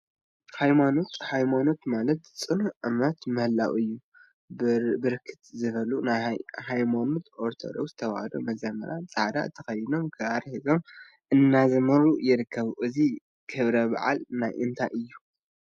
ሃይማኖት ሃይማኖት ማለት ፅኑዕ እምነት ምህላው እዩ፡፡ ብርክት ዝበሉ ናይ ሃይማኖት ኦርቶዶክሰ ተዋህዶ መዘምራን ፃዕዳ ተከዲኖም ክራር ሒዞም እናዘመሩ ይርከቡ፡፡ እዚ ክብረ በዓል ናይ እንታይ እዩ?